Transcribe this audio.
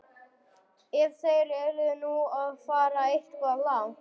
Ef þeir eru nú að fara eitthvað langt.